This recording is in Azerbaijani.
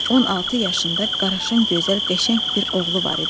On altı yaşında qaraşın, gözəl, qəşəng bir oğlu var idi.